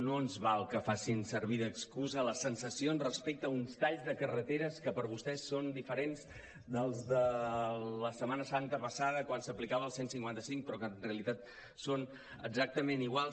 no ens val que facin servir d’excusa les sensacions respecte a uns talls de carreteres que per vostès són diferents dels de la setmana santa passada quan s’aplicava el cent i cinquanta cinc però que en realitat són exactament iguals